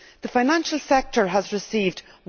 The financial sector has received EUR